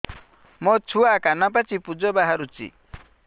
ମୋ ଛୁଆ କାନ ପାଚି ପୂଜ ବାହାରୁଚି